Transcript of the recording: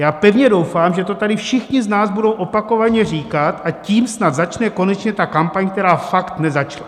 Já pevně doufám, že to tady všichni z nás budou opakovaně říkat, a tím snad začne konečně ta kampaň, která fakt nezačala.